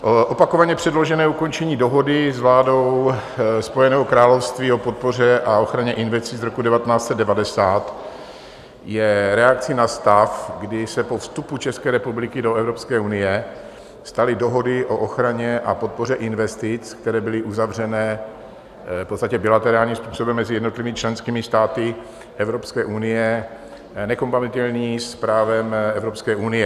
Opakovaně předložené ukončení Dohody s vládou Spojeného království o podpoře a ochraně investic z roku 1990 je reakcí na stav, kdy se po vstupu České republiky do Evropské unie staly dohody o ochraně a podpoře investic, které byly uzavřeny v podstatě bilaterálním způsobem mezi jednotlivými členskými státy Evropské unie, nekompatibilní s právem Evropské unie.